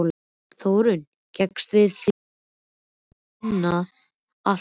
Þórunn gengst við því að hafa saumað allt þarna inni.